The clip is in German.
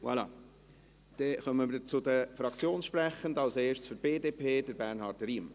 Dann kommen wir zu den Fraktionssprechenden, als erster für die BDP: Bernhard Riem.